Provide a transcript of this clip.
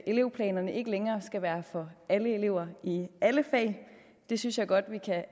elevplanerne ikke længere skal være for alle elever i alle fag det synes jeg godt vi kan